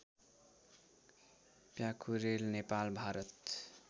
Pyakurel Nepal Bharat